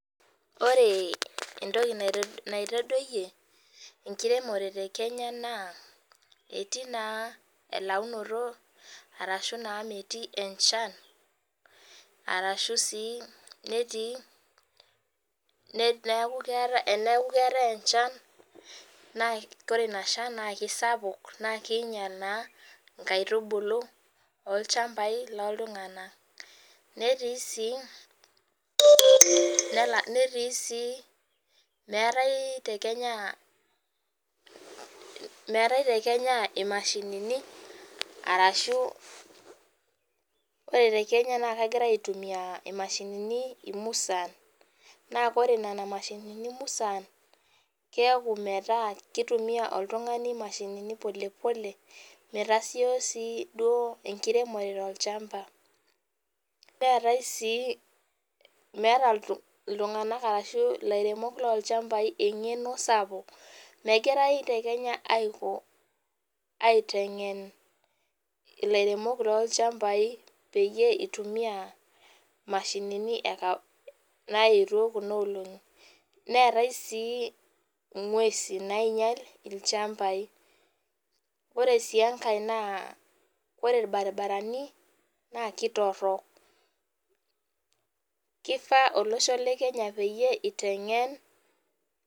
Ore entoki naitodoiye enkiremore te Kenya naa etii naa elaunoto arashu naa metii enchan, arashu sii netii enaaku keatae enchan naa kore inashan naa kesapuk naa keinyal naa Inkaitubulu loo ilchambai looltungana . Neti sii nela ,netui sii meatae te Kenya, meate te Kenya imashinini arashu ore te Kenya naa kegirai aitumiya imashinini umusan, naa kore nena imashinini imusan keaku metaa keitumiya oltungani imashinini pole pole metasioi sii duo enkiremore olchamba. Neatae sii, meata oltungana olchamba oshi ilairemok loo ilchambai ing'eno sapuk. Megirai te Kenya aiko, aitengen ilairemok loo ilchambai peyie eitumiya imashinini naetio kuna olong'i. Neetae sii inguesi nainyal ilchambai. Ore sii enkae naa ore irbaribarani naa ketorok. Keifaa olosho le Kenya peiye aitengen.